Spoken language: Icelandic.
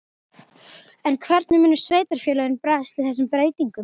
En hvernig munu sveitarfélögin bregðast við þessum breytingum?